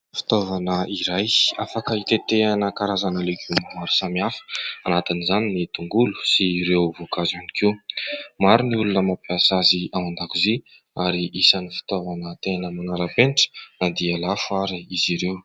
Fitaovana iray afaka hitetehana karazana legioma maro samihafa. Anatin'izany ny tongolo sy ireo voankazo ihany koa. Maro ny olona mampiasa azy ao an-dakozia ary isan'ny fitaovana tena manara-penitra na dia lafo ary izy ireo.